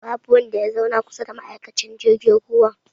Babu wanda ya zauna kusa da ma'aikacin jirgin ruwan